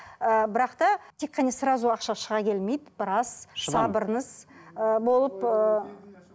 ыыы бірақ та тек қана сразу ақша шыға келмейді біраз сабырыңыз ы болып ыыы